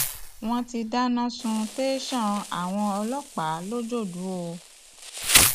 wọn ti dáná sun tẹsán àwọn ọlọpàá lọjọdù o